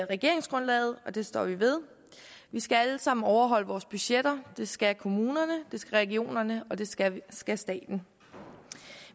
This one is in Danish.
regeringsgrundlaget og det står vi ved vi skal alle sammen overholde vores budgetter det skal kommunerne det skal regionerne og det skal skal staten